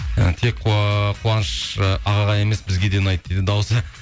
ы тек қуаныш ы ағаға емес бізге де ұнайды дейді дауысы